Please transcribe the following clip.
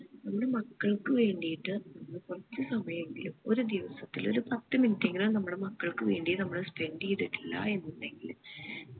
നമ്മുടെ മക്കൾക്ക് വേണ്ടിയിട്ട് നമ്മൾ കൊറച്ചു സമയം എങ്കിലും ഒരു ദിവസത്തിൽ ഒരു പത്ത് minute എങ്കിലും നമ്മടെ മക്കൾക്ക് വേണ്ടി നമ്മൾ spend ചെയ്തിട്ടില്ല എന്നുണ്ടെകില്